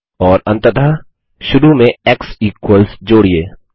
और अंततः शुरू में एक्स इक्वल्स जोड़िये